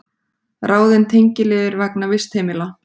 Ráðin tengiliður vegna vistheimila